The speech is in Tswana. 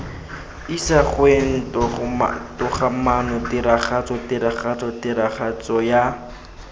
isagweng togamaano tiragatso tiragatso tiragatsoya